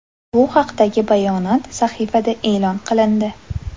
Bu haqdagi bayonot sahifada e’lon qilindi .